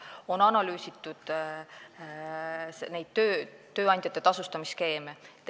On analüüsitud tööandjate tasustamisskeeme.